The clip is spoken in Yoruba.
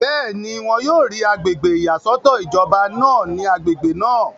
bẹ́ẹ̀ni, wọn yóò rí agbègbè ìyàsọ́tọ̀ ìjọba náà ní agbègbè náà